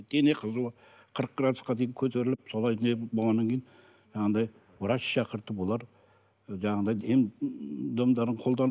дене қызуы қырық градусқа дейін көтеріліп солай болғаннан кейін жаңағыдай врач шақыртып олар жаңағыдай ем домдарын қолданып